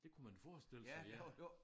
Det kunne man forestille sig ja